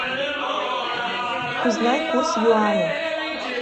узнай курс юаня